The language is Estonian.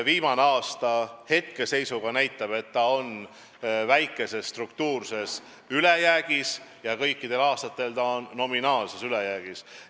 Viimane aasta hetkeseisuga näitab, et eelarve on väikeses struktuurses ülejäägis ja kõikidel järgmistel aastatel on see nominaalses ülejäägis.